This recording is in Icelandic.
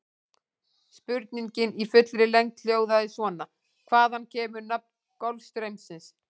Spurningin í fullri lengd hljóðaði svona: Hvaðan kemur nafn Golfstraumsins?